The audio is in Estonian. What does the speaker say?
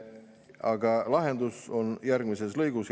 Aga lahendus on järgmises lõigus. "